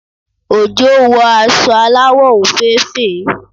Ojo wọ aṣọ aláwọ̀ òféèfé